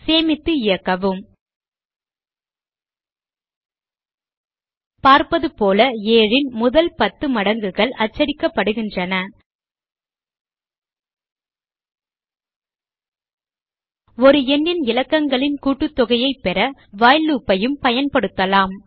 சேமித்து இயக்கவும் பார்ப்பது போல 7 ன் முதல் 10 மடங்குகள் அச்சடிக்கப்படுகின்றன ஒரு எண்ணின் இலக்கங்களின் கூட்டுத்தொகையைப் பெற வைல் லூப் ஐயும் பயன்படுத்தலாம்